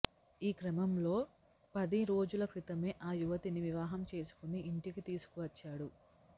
ఈ క్రమంలో పది రోజుల క్రితమే ఆ యువతిని వివాహం చేసుకుని ఇంటికి తీసుకువచ్చాడు